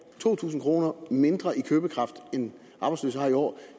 to tusind kroner mindre i købekraft end arbejdsløse har i år